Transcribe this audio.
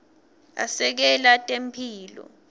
asekela temphilo